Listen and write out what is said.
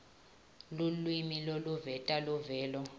lulwimi loluveta luvelo